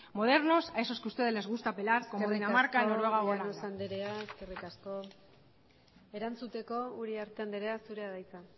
modernos a esos que ustedes le gusta apelar como dinamarca noruega u holanda eskerrik asko llanos anderea eskerrik asko erantzuteko uriarte anderea zurea da hitza